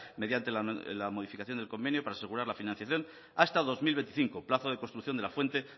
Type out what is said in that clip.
mediante la modificación del convenio para asegurar la financiación hasta dos mil veinticinco plazo de construcción de la fuente